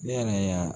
Ne yɛrɛ y'a